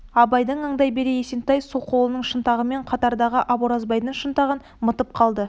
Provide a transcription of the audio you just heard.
абайды аңдай бере есентай сол қолының шынтағымен қатардағы оразбайдың шынтағын мытып қалды